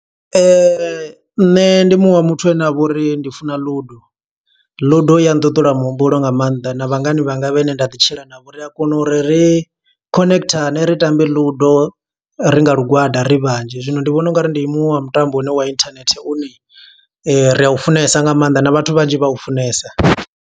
Nṋe ndi muṅwe wa muthu ane avha uri ndi funa Ludo. Ludo i ya ṱuṱula muhumbulo nga maanḓa, na vhangana vhanga vhe ne nda ḓi tshila navho, ri a kona uri ri khonekhithane ri tambe Ludo, ri nga lugwada ri vhanzhi. Zwino ndi vhona ungari ndi muṅwe wa mutambo une wa internet, une ra u funesa nga maanḓa na vhathu vhanzhi vha u funesa.